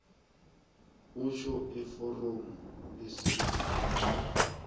utjho eforomini lesibawo